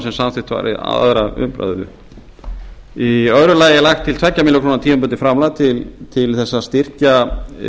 sem samþykkt var við aðra umræðu í öðru lagi er lagt fram tveggja milljóna króna tímabundið framlag til að styrkja